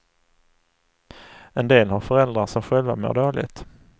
En del har föräldrar som själva mår dåligt.